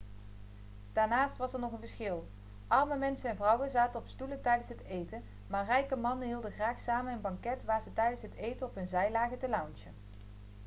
daarnaast was er nog een verschil arme mensen en vrouwen zaten op stoelen tijdens het eten maar rijke mannen hielden graag samen een banket waar ze tijdens het eten op hun zij lagen te loungen